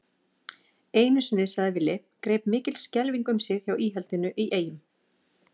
Einu sinni, sagði Villi, greip mikil skelfing um sig hjá íhaldinu í Eyjum.